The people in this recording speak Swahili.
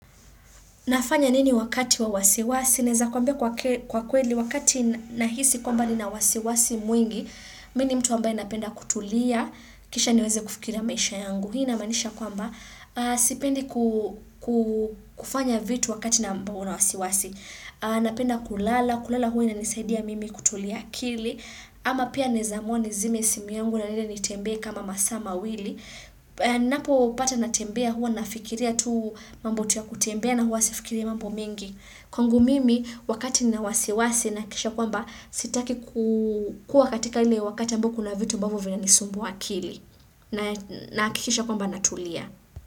Nafanya nini wakati wa wasiwasi? Naeza kwambia kwa kweli, wakati nahisi kwamba nina wasiwasi mwingi, mini mtu ambaye napenda kutulia, kisha niweze kufikiria maisha yangu. Hii ina manisha kwamba, sipendi kufanya vitu wakati na ambao na wasiwasi. Napenda kulala, kulala huwa i na nisaidia mimi kutulia akili, ama pia naezamua nizime simu yangu na niende nitembe kama masaa ma wili. Napo pata na tembea huwa na fikiria tuu mambotu ya kutembea na huwa sifikiria mambo mingi Kwangu mimi wakati ni na wasiwasi na kisha kwamba sitaki kukua katika ile wakati ambao kuna vitu ambavo vina nisumbua akili Nahakikisha kwamba natulia.